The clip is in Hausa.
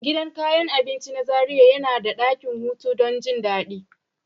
Gidan kayan abinci na Zaria yana da dakin hutu don jin daɗi.